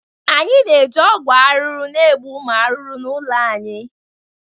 Anyị na-eji ọgwụ ahụhụ na-egbu ụmụ ahụhụ n'ụlọ anyị